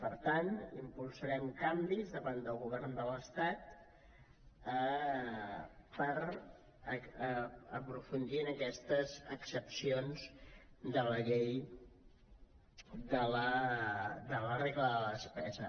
per tant impulsarem canvis davant del govern de l’estat per aprofundir en aquestes excepcions de la regla de la despesa